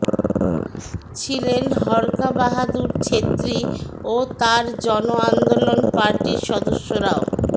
ছিলেন হরকাবাহাদুর ছেত্রী ও তার জন আন্দোলন পার্টির সদস্যরাও